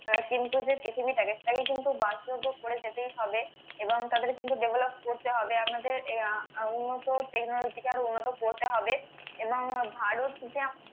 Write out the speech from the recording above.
কিন্তু যে পৃথিবীটাকে কিন্তু করে যেতেই হবে এবং তাদের কিন্তু develop করতে হবে আমাদের আহ উন্নত technology কে আরো উন্নত করতে হবে এবং ভারত যে